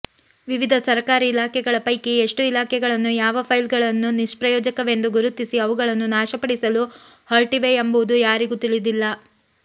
ವಿವಿಧ ಸರಕಾರಿ ಇಲಾಖೆಗಳ ಪೈಕಿ ಎಷ್ಟು ಇಲಾಖೆಗಳು ಯಾವ ಫೈಲ್ಗಳನ್ನು ನಿಷ್ಪ್ರಯೋಜಕವೆಂದು ಗುರುತಿಸಿ ಅವುಗಳನ್ನು ನಾಶಪಡಿಸಲು ಹೊರಟಿವೆಯೆಂಬುದು ಯಾರಿಗೂ ತಿಳಿದಿಲ್ಲ